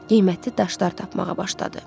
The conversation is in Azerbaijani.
Qiymətli daşlar tapmağa başladı.